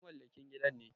Ai mamallakin gidan ne.